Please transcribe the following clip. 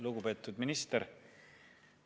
Lugupeetud minister!